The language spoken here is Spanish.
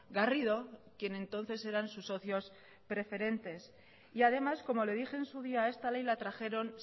garrido quien entonces eran sus socios precedentes y además como le dije en su día esta ley la trajeron